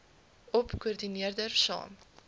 gop koördineerder saam